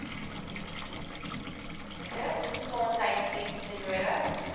gespesialiseerde gesondheidsdienste nodig